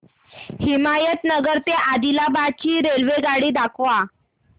हिमायतनगर ते आदिलाबाद ची रेल्वेगाडी दाखवा